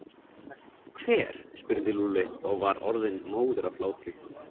Hver? spurði Lúlli og var orðinn móður af hlátri.